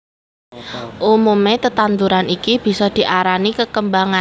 Umume tetanduran iki bisa diarani kekembangan